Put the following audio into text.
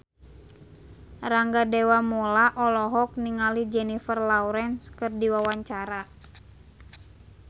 Rangga Dewamoela olohok ningali Jennifer Lawrence keur diwawancara